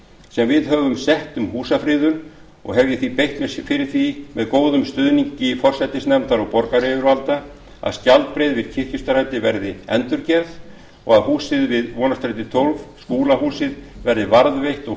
sem við höfum sett um húsafriðun og hef ég því beitt mér fyrir því með góðum stuðningi forsætisnefndar og borgaryfirvalda að skjaldbreið við kirkjustræti verði endurgerð og að húsið við vonarstæti tólf skúlahús verði varðveitt og